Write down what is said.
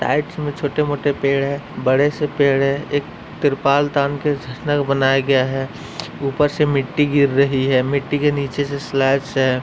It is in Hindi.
राइट में छोटे मोटे पेड़ है। बड़े से पेड़ है। एक त्रिपाल तान के बनाया गया है। ऊपर से मिट्टी गिर रही है। मिट्टी के नीचे से है।